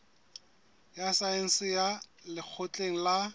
ya saense ya lekgotleng la